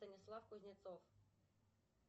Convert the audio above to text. станислав кузнецов